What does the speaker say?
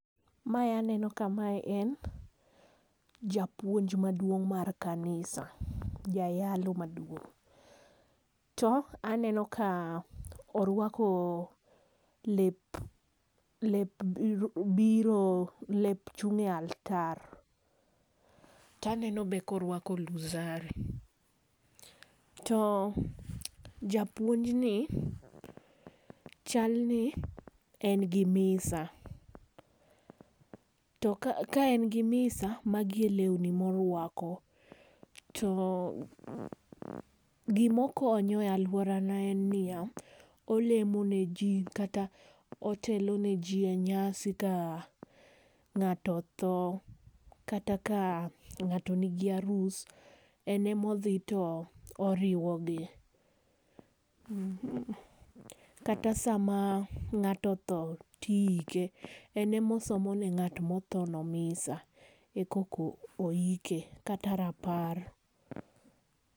Mae aneno ka mae en japuonj maduong' mar kanisa. Jayalo maduong'. To aneno ka orwako lep lep biro, lep chung' e altar. To aneno be ka orwako rozari. To japuonj ni chalni en gi misa. To ka, ka en gi mkis magi e lewni morwako. To gima okonyo e alworana en niya olemo ne ji, kata oteloneji nyasi ka ng'ato otho, kata ka ng'ato nigi arus. En ema odhi to oriwo gi. Kata sama ng'ato otho tiike, en ema osomo ne ng'at ma otho no misa, e koka oike. Kata rapar.